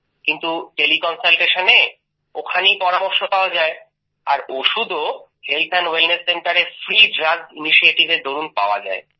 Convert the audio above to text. কিন্তু তেলে Consultationএর মাধ্যমে ওখানেই পরামর্শ পাওয়া যায় আর ওষুধও হেলথ ওয়েলনেস Centreএ ফ্রি ড্রাগস initiativeএর দরুন পাওয়া যায়